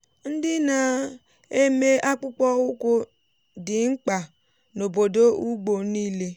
ndị na-eme akpụkpọ ụkwụ dị mkpa n’obodo ugbo niile.